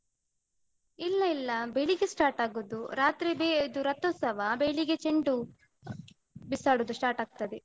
ಇಲ್ಲ ಇಲ್ಲ ಬೆಳಿಗ್ಗೆ start ಆಗುದು. ರಾತ್ರಿದೇ ಇದು ರಥೋತ್ಸವ ಬೆಳಿಗ್ಗೆ ಚೆಂಡು. ಬಿಸಾಡುದು start ಆಗ್ತದೆ.